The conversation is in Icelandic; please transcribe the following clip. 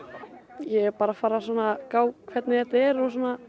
ég er bara að fara að gá hvernig þetta er og